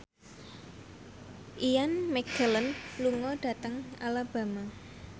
Ian McKellen lunga dhateng Alabama